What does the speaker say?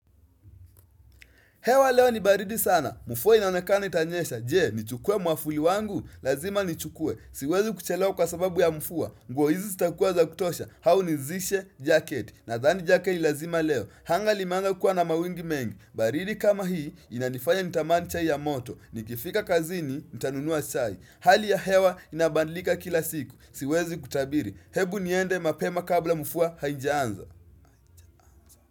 Hewa leo ni baridi sana. Mvua inaonekana itanyesha. Je, nichukue mwavuli wangu? Lazima nichukue. Siwezi kuchelewa kwa sababu ya mvua. Nguo hizi zitakuwa za kutosha. Au nizishe jacket. Nadhani jacket lazima leo. Anga limeanza kukua na mawingu mengi. Baridi kama hii inanifanya nitamani chai ya moto. Nikifika kazini, nitanunua chai. Hali ya hewa inabandlika kila siku. Siwezi kutabiri. Hebu niende mapema kabla mvua haijaanza.